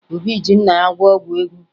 Obi ji nna ya gwọọ ọgwụ ego